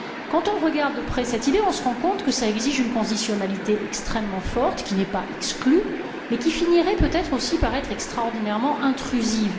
Quand on regarde de près cette idée, on se rend compte que cela exige une conditionnalité extrêmement forte, qui n'est pas exclue, mais qui finirait par être extraordinairement intrusive.